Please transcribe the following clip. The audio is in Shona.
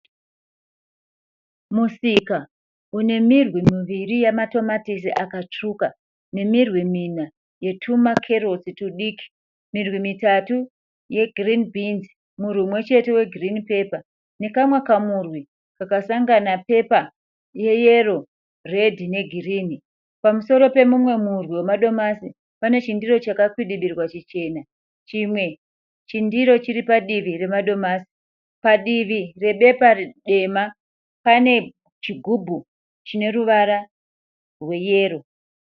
Musika une mirwi miviri yematomatisi akatsvuka. Nemirwi mina yetuma Carrots tudiki. Mirwi mitatu ye girinhi bhinzi. Murwi múmwe chete we girinhi pepa. Nekamwe kamhurwi kakasangana pepa ye yero redhi ne girinhi. Pamusoro pemumwe murwi wemadomasi, pane chindiro chakakwidibirwa chichena. Chimwe chindiro chiripadivi remadomasi. Padivi re bepa dema pane chigubhu chine ruvara rwe yero.